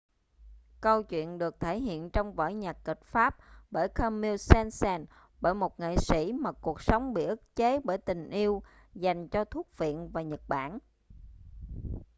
câu chuyện được thể hiện trong vở nhạc kịch pháp bởi camille saint-saens bởi một nghệ sĩ mà cuộc sống bị bức chế bởi tình yêu dành cho thuốc phiện và nhật bản